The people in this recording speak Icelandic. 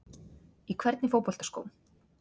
Í hvernig fótboltaskóm?